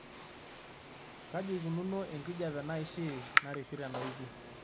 kaji eikununo enkijiape naaishii nareshu tenawiki